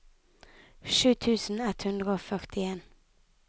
sju tusen ett hundre og førtien